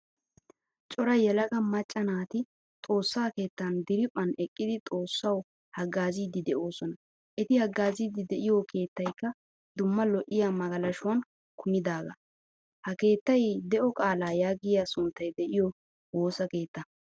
Cora yelaga macca naati xoossaa keettan diriphphan eqqidi xoossawu haggaazzidi deosona. Eti haggaazzidi de'iyo keettaykka dumma lo'iya magalshuwaan kumidaga. Ha keettaay de'o qaala yaagiyaa sunttay de'iyo woosaa keettaa.